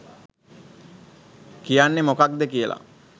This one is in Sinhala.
කියන්නේ මොකද්ද කියලා.